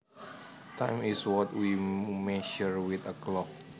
Time is what we measure with a clock